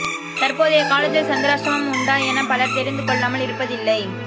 தற்போதைய காலத்தில் சந்திராஷ்டமம் உண்டா என பலர் தெரிந்து கொள்ளாமல் இருப்பதில்லை